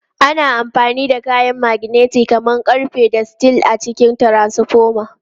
Ana amfani da kayan maganeti kamar ƙarfe da steel a cikin transfoma.